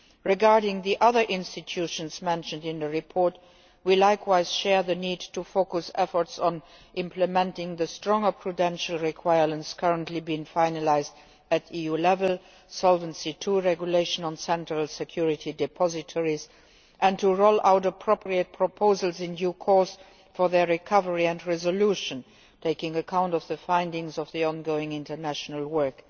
Regarding the other institutions mentioned in the report, we agree likewise on the need to focus efforts on implementing the stronger prudential requirements currently being finalised at EU level the Solvency II Regulation on central security depositories and to roll out appropriate proposals in due course for their recovery and resolution, taking account of the findings of the ongoing international work.